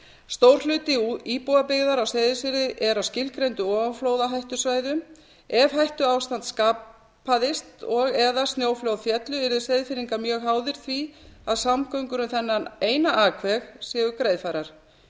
stór hluti íbúabyggðar á seyðisfirði er á skilgreindum ofanflóðahættusvæðum ef hættuástand skapaðist og eða snjóflóð féllu eru seyðfirðingar mjög háðir því að samgöngur um þennan eina akveg séu greiðfærar